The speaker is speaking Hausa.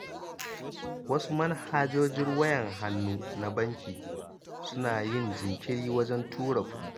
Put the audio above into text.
Wasu manhajojin wayar hannu na banki, suna yin jinkiri wajen tura kuɗi.